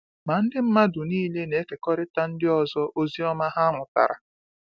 Ma ndị mmadụ niile na-ekekọrịta ndị ọzọ ozi ọma ha mụtara.